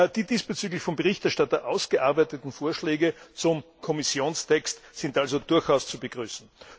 Die diesbezüglich vom Berichterstatter ausgearbeiteten Vorschläge zum Kommissionstext sind also durchaus zu begrüßen.